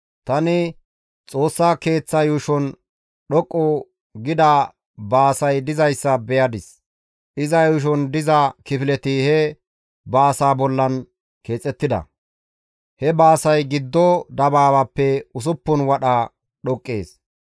Tani Xoossa Keeththa yuushon dhoqqu gida baasay dizayssa beyadis. Iza yuushon diza kifileti he baasaa bollan keexettida; he baasay giddo dabaabaappe usuppun wadha dhoqqees.